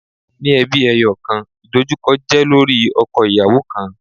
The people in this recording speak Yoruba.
Ninu ẹbi ẹyọkan, idojukọ jẹ lori ọkọ-iyawo kan